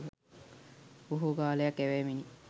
බොහෝ කාලයක් ඇවෑමෙනි.